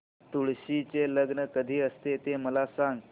तुळशी चे लग्न कधी असते ते मला सांग